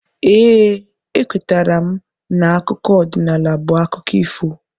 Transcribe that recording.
Ee, ekwetara m na akụkọ ọdịnala bụ akụkọ ifo.